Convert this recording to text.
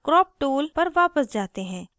अतः crop tool पर वापस जाते हैं